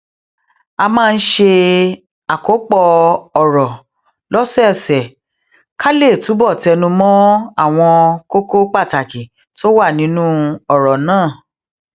a máa ń ṣe àkópò òrò lósòòsè ká lè túbò tẹnu mó àwọn kókó pàtàkì tó wà nínú òrò náà